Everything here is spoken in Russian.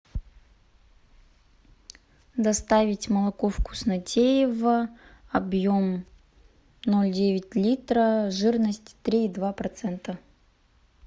доставить молоко вкуснотеево объем ноль девять литра жирность три и два процента